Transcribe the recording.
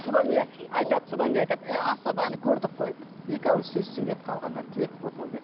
содан не айтады содан кейін айтады е асаба әне көрдік қой екі ауыз сөз сөйледі қалғандары тілек болды ойбай